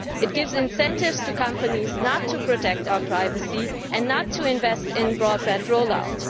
it gives incentives to companies not to protect our privacy and not to invest in broadband roll-out.